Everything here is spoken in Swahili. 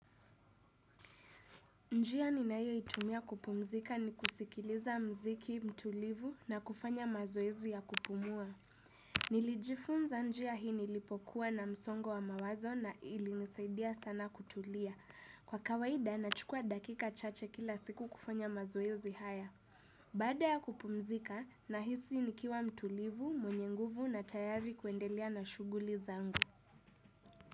Njia ninayo itumia kupumzika ni kusikiliza mziki, mtulivu na kufanya mazoezi ya kupumua. Nilijifunza njia hii nilipokuwa na msongo wa mawazo na ili nisaidia sana kutulia. Kwa kawaida nachukua dakika chache kila siku kufanya mazoezi haya. Bada ya kupumzika na hisi nikiwa mtulivu, mwenye nguvu na tayari kuendelea na shuguli zangu.